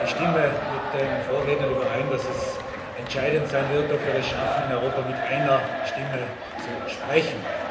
Ich stimme mit den Vorrednern überein, dass es entscheidend sein wird, ob wir es schaffen, in Europa mit einer Stimme zu sprechen.